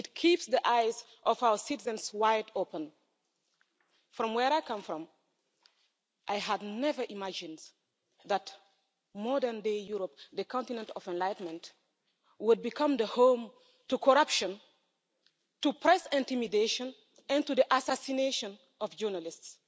It keeps the eyes of our citizens wide open. From where I come from, I had never imagined that modern-day Europe, the continent of enlightenment, would become the home to corruption, to press intimidation and to the assassination of journalists